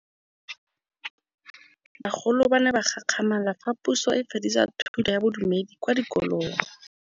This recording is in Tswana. Bagolo ba ne ba gakgamala fa Pusô e fedisa thutô ya Bodumedi kwa dikolong.